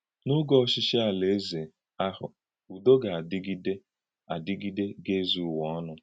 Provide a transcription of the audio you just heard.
N’ògé ọchí̄chí Alaeze ahụ, ùdò ga-adígidè adígidè, ga-ezù Ụ̀wà ọnụ.